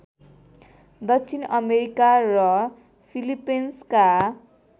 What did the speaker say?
दक्षिण अमेरिका र फिलिपिन्सका